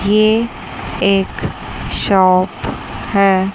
ये एक शॉप हैं।